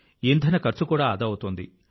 ఇంధన ఖర్చు కూడా ఆదా అవుతోంది